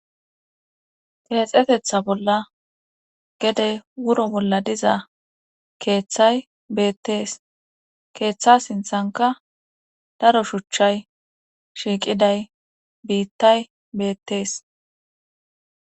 Tinexetetha bolla gede wuro bolla diza keeththay beettees keeththa sinthanka daro shuchchay shiiqiday biittay beettees.